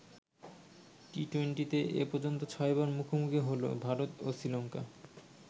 টি-টুয়েন্টিতে এ পর্যন্ত ছয়বার মুখোমুখি হলো ভারত ও শ্রীলঙ্কা।